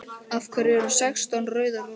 Af hverju sextán rauðar rósir?